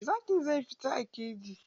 Zakin zai fita a keji.